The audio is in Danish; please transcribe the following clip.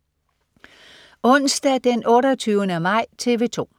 Onsdag den 28. maj - TV 2: